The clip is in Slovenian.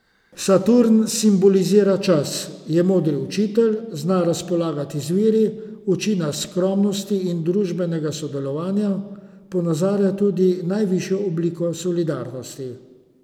Saturn simbolizira čas, je modri učitelj, zna razpolagati z viri, uči nas skromnosti in družbenega sodelovanja, ponazarja tudi najvišjo obliko solidarnosti.